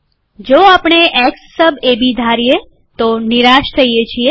જો આપણે x sub AB ધારીએ આપણે નિરાશ થઈએ છીએ